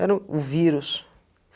Era o Vírus.